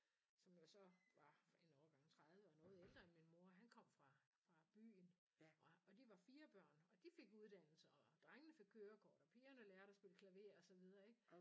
Som jo så var en årgang 30 og noget ældre end min mor han kom fra fra byen og og de var 4 børn og de fik uddannelser og drengene fik kørekort og pigerne lærte at spille klaver og så videre ik